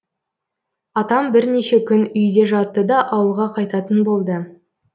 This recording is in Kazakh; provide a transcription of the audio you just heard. атам бірнеше күн үйде жатты да ауылға қайтатын болды